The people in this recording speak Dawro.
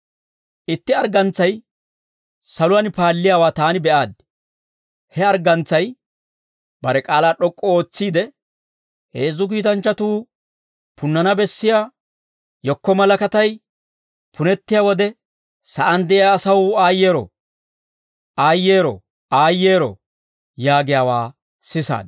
Itti arggantsay saluwaan paalliyaawaa taani be'aaddi. He arggantsay bare k'aalaa d'ok'k'u ootsiide, «Heezzu kiitanchchatuu punnana bessiyaa yekko malakatay punettiyaa wode, sa'aan de'iyaa asaw aayyeero! Aayyeero! Aayyeero!» yaagiyaawaa sisaad.